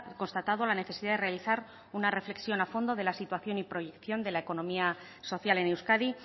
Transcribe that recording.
constatado la necesidad de realizar una reflexión a fondo de la situación y proyección de la economía social en euskadi